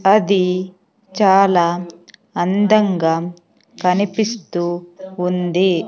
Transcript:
అది చాలా అందంగా కనిపిస్తూ ఉంది.